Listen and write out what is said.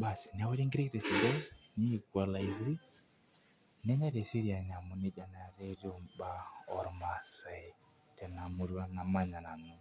baasi neori nkiri te sidai nei equalisy nenyae te seraini amu neija naa etiu ibaa oo irmasae tena murua namanya nanu.